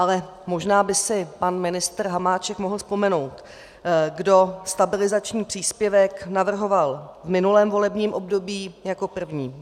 Ale možná by si pan ministr Hamáček mohl vzpomenout, kdo stabilizační příspěvek navrhoval v minulém volebním období jako první.